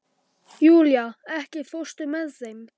Júlía, ekki fórstu með þeim?